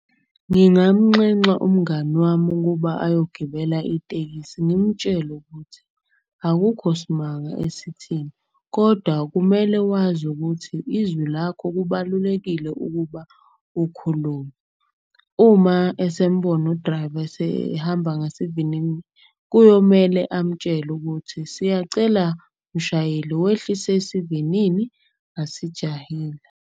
Ngingamnxenxa umngani wami ukuba ayogibela itekisi. Ngimtshele ukuthi akukho smanga esithini kodwa kumele wazi ukuthi izwi lakho kubalulekile ukuba ukhulume. Uma esembona u-driver esehamba ngasivinini. Kuyomele amtshele ukuthi, siyacela mshayeli wehlise isivinini asijahile.